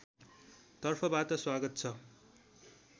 तर्फबाट स्वागत छ